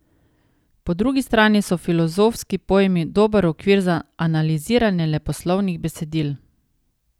Po drugi strani so filozofski pojmi dober okvir za analiziranje leposlovnih besedil.